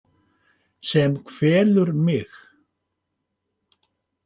Sem kvelur mig.